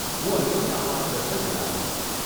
હું અન્યોને આ માર્ગદર્શન જણાવીશ.